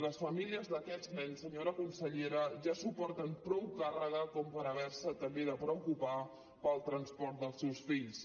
les famílies d’aquests nens senyora consellera ja suporten prou càrrega per haver se també de preocupar pel transport dels seus fills